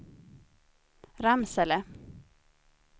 Ramsele